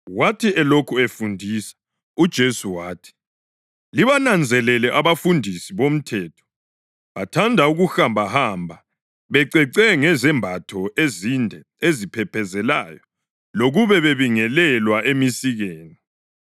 Wathi elokhu efundisa, uJesu wathi, “Libananzelele abafundisi bomthetho. Bathanda ukuhambahamba becece ngezembatho ezinde eziphephezelayo lokube bebingelelwa emisikeni,